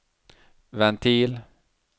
ventil